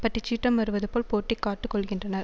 பட்டிச் சீற்றம் வருவது போல் போட்டி காட்டுக்கொள்ளுகின்றனர்